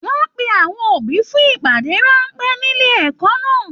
Wọn pe àwọn òbí fún ìpàdé ránpẹ́ nílé ẹ̀kọ́ náà.